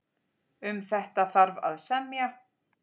En hvað skýrir þennan mun?